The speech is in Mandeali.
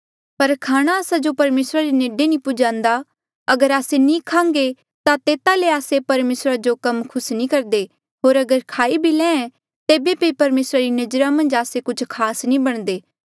पर खाणा आस्सा जो परमेसरा रे नेडे नी पुजान्दा अगर आस्से नी खान्घे ता तेता ले आस्से परमेसरा जो कम खुस नी करदे होर अगर खाई भी ले तेबे बी परमेसरा री नजरा मन्झ आस्से कुछ खास नी बणदे